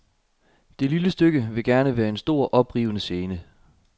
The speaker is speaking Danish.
Det lille stykke vil gerne være en stor, oprivende scene.